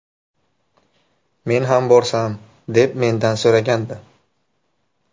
Men ham borsam”, deb mendan so‘ragandi.